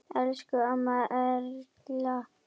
Elsku amma Erla.